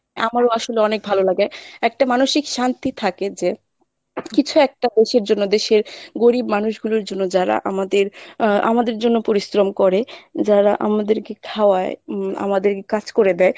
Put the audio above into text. আমারো আসলে অনেক ভালো লাগে, একটা মানসিক শান্তি থাকে যে কিছু একটা দেশের জন্য দেশের গরীব মানুষ গুলোর জন্য যারা আমাদের আহ আমাদের জন্য পরিশ্রম করে যারা আমাদেরকে খাওয়ায় হম আমাদের কাজ করে দেয়